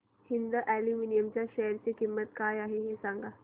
Hind aluminium च्या share ची किंमत काय आहे हे सांगा